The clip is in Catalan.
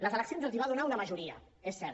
les eleccions els va donar una majoria és cert